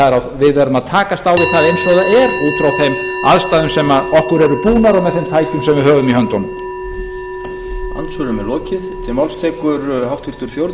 að við verðum að takast á við það eins og það er út frá þeim aðstæðum sem okkur eru búnar og með þeim tækjum sem við höfum í höndunum